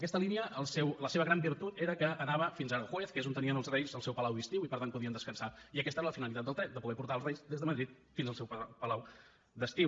aquesta línia la seva gran virtut era que anava fins a aranjuez que és on tenien els reis el seu palau d’estiu i per tant podien descansar i aquesta era la finalitat del tren poder portar els reis des de madrid fins al seu palau d’estiu